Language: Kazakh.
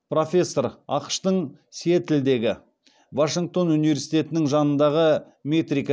профессор ақш тың сиэтлдегі вашингтон университетінің жанындағы метрика